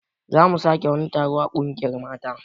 Zamu sake wani taron a ƙungiyar mata